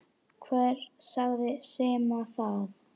Hver sagði Simma það?